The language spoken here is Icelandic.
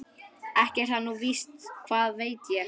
Ekki er það nú víst, hvað veit ég.